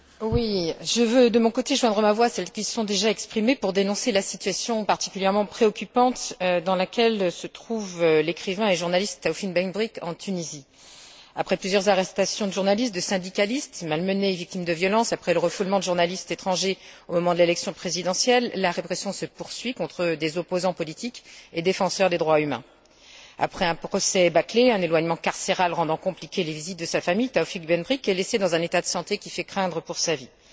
Monsieur le Président, je veux, de mon côté, joindre ma voix à celles qui se sont déjà exprimées pour dénoncer la situation particulièrement préoccupante dans laquelle se trouve le journaliste et écrivain Taoufik Ben Brik en Tunisie. Après plusieurs arrestations de journalistes, de syndicalistes, malmenés et victimes de violences, après le refoulement de journalistes étrangers au moment de l'élection présidentielle, la répression se poursuit contre des opposants politiques et défenseurs des droits humains. Après un procès bâclé, un éloignement carcéral rendant difficiles les visites de sa famille, Taoufik Ben Brik est laissé dans un état de santé qui fait craindre pour sa vie.